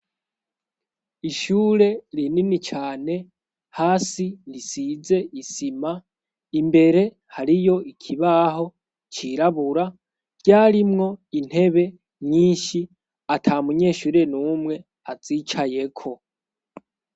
Ishure rinini cane hasi risize isima imbere hariyo ikibaho cirabura ryarimwo intebe nyinshi ata munyeshure n'umwe azicayeko.